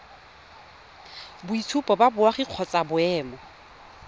boitshupo ba boagi kgotsa boemo